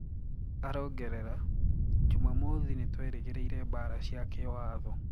arangerera:"Jumamothi, nitueregereire mbara cia kiwatho."